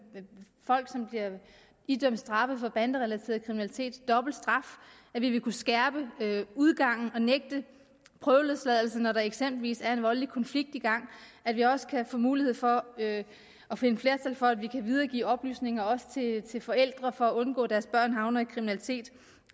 folk som bliver idømt straffe for banderelateret kriminalitet dobbelt straf at vi vil kunne skærpe udgangen og nægte prøveløsladelse når der eksempelvis er en voldelig konflikt i gang at vi også kan få mulighed for at finde flertal for at vi kan videregive oplysninger til forældre for at undgå at deres børn havner i kriminalitet